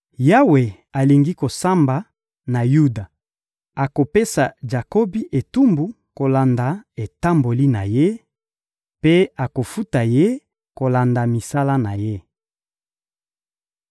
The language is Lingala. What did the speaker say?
Yawe alingi kosamba na Yuda; akopesa Jakobi etumbu kolanda etamboli na ye mpe akofuta ye kolanda misala na ye.